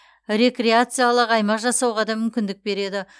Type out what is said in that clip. рекреациялық аймақ жасауға да мүмкіндік береді